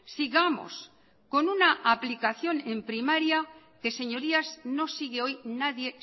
sigamos con una aplicación en primaria que señorías no sigue hoy nadie